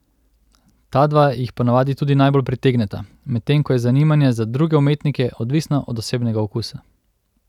Ta dva jih ponavadi tudi najbolj pritegneta, medtem ko je zanimanje za druge umetnike odvisno od osebnega okusa.